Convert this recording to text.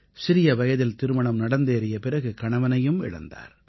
சிறிய வயதில் திருமணம் நடந்தேறிய பிறகு கணவனையும் இழந்தார்